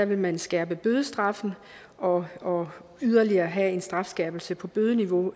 vil man skærpe bødestraffen og og yderligere have en strafskærpelse på bødeniveau